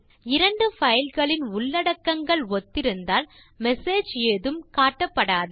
இரண்டு பைல் களின் உள்ளடக்கங்கள் ஒத்திருந்தால் மெசேஜ் ஏதும் காட்டப்படாது